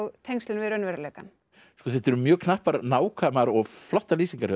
tengslin við raunveruleikann þetta eru mjög knappar nákvæmar og flottar lýsingar hjá